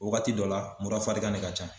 O wagati dɔ la murafarigan ne ka can.